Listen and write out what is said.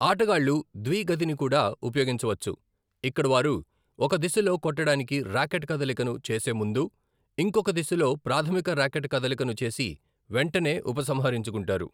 ఆటగాళ్ళు ద్వి గతిని కూడా ఉపయోగించవచ్చు, ఇక్కడ వారు ఒక దిశలో కొట్టడానికి ర్యాకెట్ కదలికను చేసే ముందు ఇంకొక దిశలో ప్రాధమిక రాకెట్ కదలికను చేసి వెంటనే ఉపసంహరించుకుంటారు.